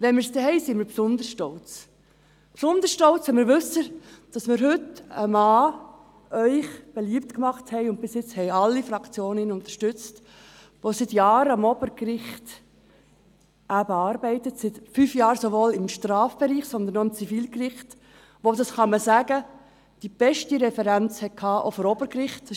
Wenn wir es dann haben, sind wir besonders stolz – besonders stolz, wenn wir wissen, dass wir Ihnen heute einen Mann beliebt gemacht haben – und bis jetzt haben ihn alle Fraktionen unterstützt –, der seit Jahren am Obergericht arbeitet, seit fünf Jahren sowohl im Strafbereich als auch am Zivilgericht, und der – das kann man sagen – auch die beste Referenz des Obergerichts hatte.